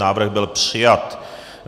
Návrh byl přijat.